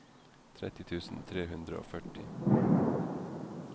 tretti tusen tre hundre og førti